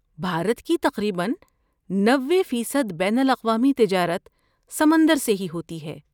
بھارت کی تقریباً نبے فیصد بین الاقوامی تجارت سمندر سے ہی ہوتی ہے